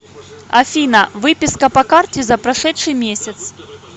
афина выписка по карте за прошедший месяц